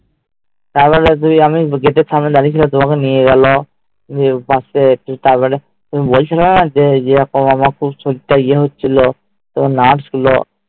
তারপরে তুমি আমি Gate এর সামনে দাঁড়িয়েছিলাম ওই মি নিয়ে গেলো তারপরে তুমি বলছিলেন যে আমার খুব শরীর তা যে হচ্ছিলো তো মা ছিল